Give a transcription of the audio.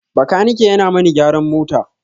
Bakanike yana mani gyaran mota.